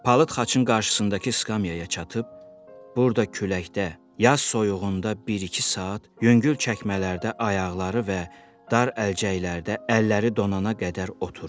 Palıd xaçın qarşısındakı skamyaya çatıb, burda küləkdə, yaz soyuğunda bir-iki saat yüngül çəkmələrdə ayaqları və dar əlcəklərdə əlləri donana qədər oturur.